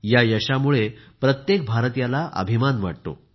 या यशामुळे प्रत्येक भारतीयाला अभिमान वाटतो